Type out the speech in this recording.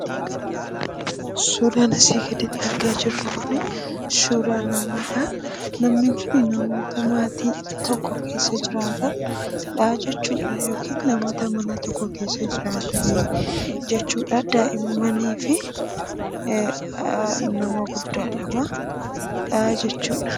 Suuraan asii gaditti argaa jirru kun suuraa namaadha. Namni kun namoota maatii tokko keessa jiraatanidha jechuudha. Yookiin namoota mana tokko keessa jiran jechuudh. daa'immanii fi nama guddaa lama jechuudha.